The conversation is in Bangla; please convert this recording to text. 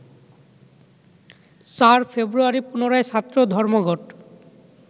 ৪ ফেব্রুয়ারি পুনরায় ছাত্র ধর্মঘট